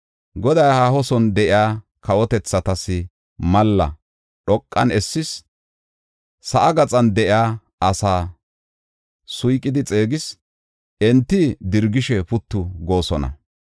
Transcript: Goday haaho son de7iya kawotethatas malla dhoqan essis; sa7aa gaxan de7iya asaa suyqidi xeegis; enti dirgishe puttu goosona.